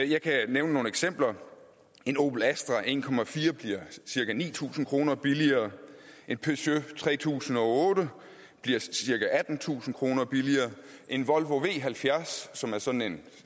jeg kan nævne nogle eksempler en opel astra en bliver cirka ni tusind kroner billigere en peugeot tre tusind og otte bliver cirka attentusind kroner billigere en volvo v halvfjerds som er sådan en